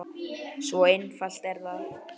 Svo einfalt er það!